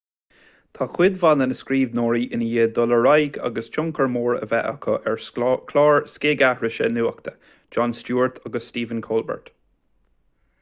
tá cuid mhaith de na scríbhneoirí i ndiaidh dul ar aghaidh agus tionchar mór a bheith acu ar chláir scigaithrise nuachta jon stewart agus stephen colbert